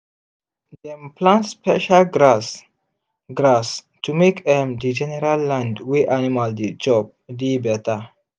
dem plant special grass grass to make um the general land wey animal dey chop dey better